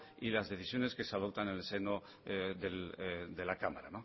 y las decisiones que se adoptan en el seno de la cámara